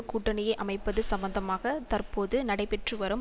கூட்டணியை அமைப்பது சம்பந்தமாக தற்போது நடைபெற்று வரும்